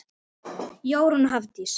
Jórunn og Hafdís.